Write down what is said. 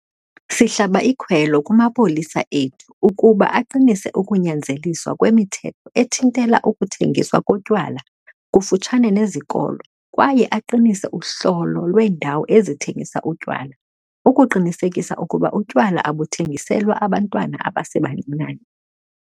Sihlaba ikhwelo kumapolisa ethu ukuba aqinise ukunyanzeliswa kwemithetho ethintela ukuthengiswa kotywala kufutshane nezikolo kwaye aqinise uhlolo lweendawo ezithengisa utywala ukuqinisekisa ukuba utywala abuthengiselwa abantwana abasebancinane.